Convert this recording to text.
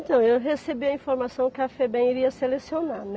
Então, eu recebi a informação que a Febem iria selecionar, né?